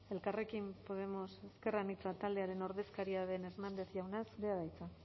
elkarrekin podemos ezker anitza taldearen ordezkaria den hernández jauna zurea da hitza